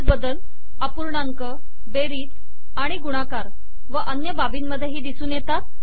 असेच बदल अपूर्णांक बेरीज आणि गुणाकार व अन्य बाबींमधेही दिसून येतात